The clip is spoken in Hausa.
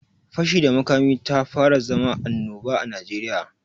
Fashi da makami tafara zama anoba a Najeriya.